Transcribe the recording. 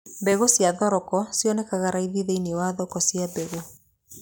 Mbegũ cia thoroko cionekanaga raithi thĩiniĩ wa thoko cia mbegũ.